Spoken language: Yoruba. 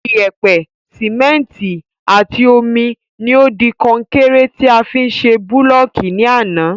Iyèpè, Síméntì àti omi ni o di konkéré ti a fi ṣe búlọ̀kì ní àná